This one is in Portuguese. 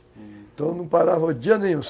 Então não parava o dia nenhum.